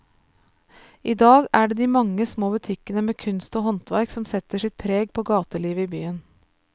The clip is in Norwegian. I dag er det de mange små butikkene med kunst og håndverk som setter sitt preg på gatelivet i byen.